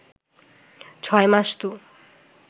ছয় মাস তো